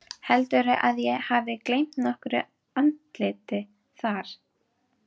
Heldurðu að ég hefði gleymt nokkru andliti þar?